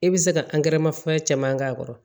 E bɛ se ka fɛn caman k'a kɔrɔ